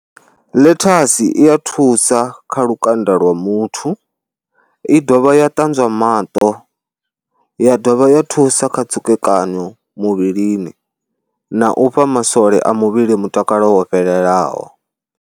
Ḽethasi i ya thusa kha lukanda lwa muthu, i dovha ya ṱanzwa maṱo, ya dovha ya thusa kha tsukekanyo muvhilini na u fha masole a muvhili mutakalo wo fhelelaho.